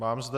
Mám zde...